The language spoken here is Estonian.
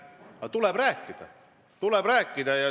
Aga tuleb rääkida, tuleb rääkida.